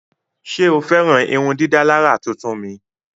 Ṣe o fẹran irundidalara tuntun mi?